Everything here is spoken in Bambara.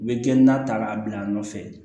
U bɛ kɛ na ta k'a bila a nɔfɛ